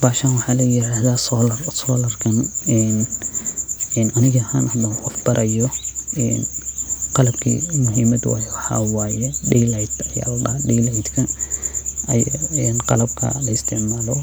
Bahashan waxa ladaha solaar aniga ahan hada hagajinayo een qalabka laisticmalo